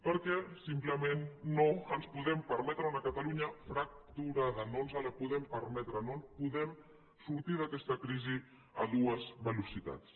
perquè simplement no ens podem permetre una catalunya fracturada no ens la podem permetre no podem sortir d’aquesta crisi a dues velocitats